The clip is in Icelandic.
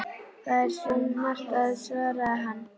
Það er svo margt að- svaraði hann.